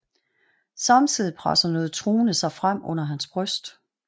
Samtidigt presser noget truende sig frem under hans bryst